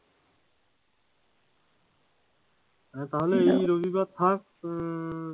তাহলে এই রবিবার থাক,